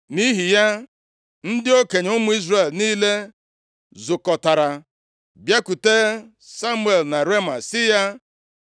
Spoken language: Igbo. Nʼihi ya, ndị okenye ụmụ Izrel niile zukọtara, bịakwute Samuel na Rema sị ya,